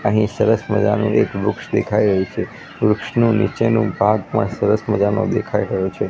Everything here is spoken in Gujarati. અહીં સરસ મજાનો એક વૃક્ષ દેખાઈ રહ્યું છે વૃક્ષનું નીચેનું ભાગ પણ સરસ મજાનું દેખાઈ રહ્યું છે.